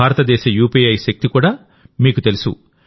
భారతదేశ యూపీఐ శక్తి కూడామీకు తెలుసు